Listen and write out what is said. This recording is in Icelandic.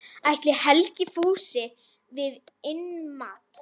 Ætli Helgi fúlsi við innmat?